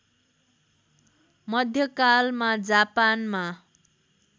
मध्यकालमा जापानमा